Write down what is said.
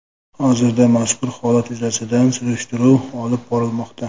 Hozirda mazkur holat yuzasidan surishtiruv olib borilmoqda.